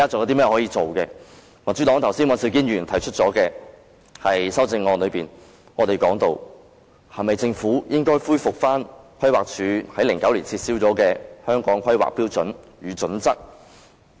剛才民主黨的尹兆堅議員提出的修正案提到，政府是否應恢復規劃署於2009年撤銷的《香港規劃標準與準則》？